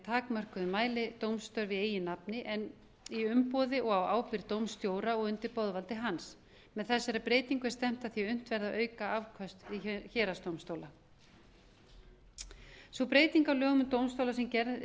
takmörkuðum mæli dómstörf í eigin nafni en í umboði og á ábyrgð dómstjóra og undir boðvaldi hans með þessari breytingu er stefnt að því að unnt verði að auka afköst héraðsdómstóla sú breyting á lögum um dómstóla sem gerð